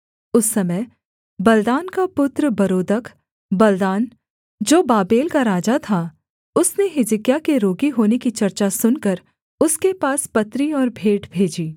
उस समय बलदान का पुत्र बरोदकबलदान जो बाबेल का राजा था उसने हिजकिय्याह के रोगी होने की चर्चा सुनकर उसके पास पत्री और भेंट भेजी